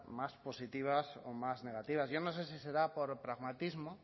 más positivas o más negativas yo no sé si será por pragmatismo